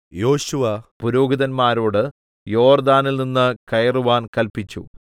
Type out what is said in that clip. യോശുവ പുരോഹിതന്മാരോട് യോർദ്ദാനിൽനിന്ന് കയറുവാൻ കല്പിച്ചു